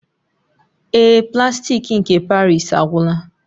Ee, plastik nke paris agwụla